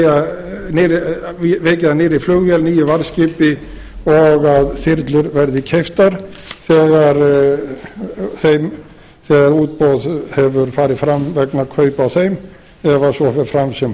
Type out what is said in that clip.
það er vikið að nýrri flugvél nýju varðskipi og að þyrlur verði keyptar þegar útboð hefur farið fram vegna kaupa á þeim ef svo fer fram sem